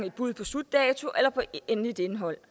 et bud på slutdato eller på endeligt indhold